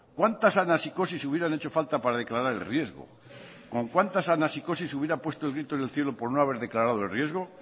cuántas anasikosis hubieran hecho falta para declarar el riesgo con cuántas anasikosis hubieran puesto el grito en el cielo por no haber declarado el riesgo